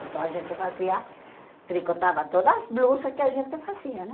Então a gente fazia, tricotava todas as blusas que a gente fazia, né?